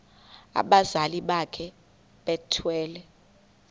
abazali bakhe bethwele